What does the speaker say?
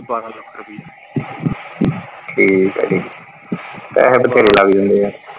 ਬਾਰਾਂ ਸੋ ਠੀਕ ਆ ਠੀਕ ਪੈਸੇ ਬਥੇਰੇ ਲੱਗ ਜਾਂਦੇ ਆ।